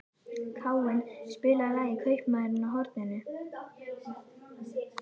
Káinn, spilaðu lagið „Kaupmaðurinn á horninu“.